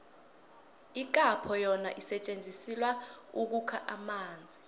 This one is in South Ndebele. ikhapho yona isetjenzisilwa ukukha amanzi